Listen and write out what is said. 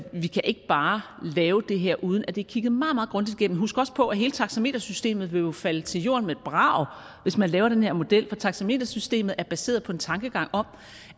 vi kan ikke bare lave det her uden at det er kigget meget meget grundigt igennem husk også på at hele taxametersystemet jo vil falde til jorden med et brag hvis man laver den her model for taxametersystemet er baseret på en tankegang om